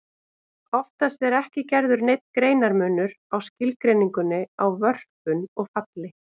Oftast er ekki gerður neinn greinarmunur á skilgreiningunni á vörpun og falli.